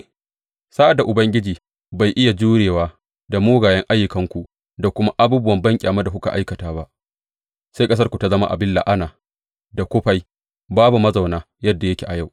Sa’ad da Ubangiji bai iya jurewa da mugayen ayyukanku da kuma abubuwa banƙyama da kuka aikata ba, sai ƙasarku ta zama abin la’ana da kufai babu mazauna yadda yake a yau.